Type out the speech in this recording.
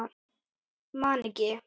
Man ekki.